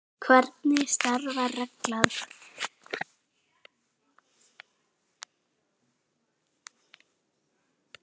Hér segir Daniel